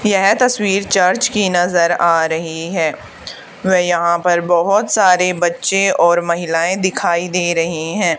यह तस्वीर चर्च की नजर आ रही है व यहां पर बहुत सारे बच्चे और महिलाएं दिखाई दे रही हैं।